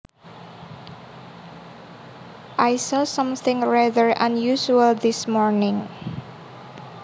I saw something rather unusual this morning